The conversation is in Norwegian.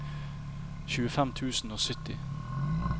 tjuefem tusen og sytti